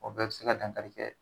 O bɛɛ bɛ se ka dankari kɛ